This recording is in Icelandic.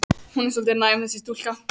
Hún er svolítið næm, þessi stúlka.